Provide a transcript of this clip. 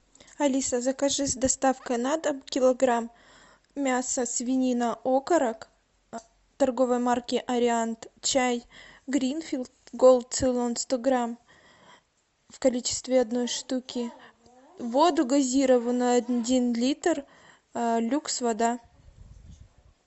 алиса закажи с доставкой на дом килограмм мясо свинина окорок торговой марки ариант чай гринфилд голд цейлон сто грамм в количестве одной штуки воду газированную один литр люкс вода